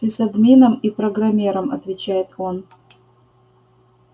сисадмином и программером отвечает он